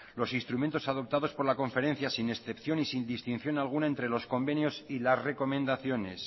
los instrumentos adoptados por la conferencia sin excepción y sin distinción alguna entre los convenios y las recomendaciones